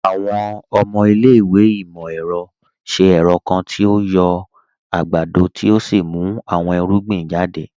Àwọn ọmọ ilẹ̀-ìwé imọ-ẹrọ ṣẹ̀ ẹrọ̀ kan tí o yọ̀ agbádọ̀ tí o sì mú àwọn irugbìn jàdẹ̀.